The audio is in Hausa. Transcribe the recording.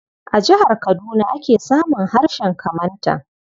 A jihar Kaduna ake samun harshen Kamantan.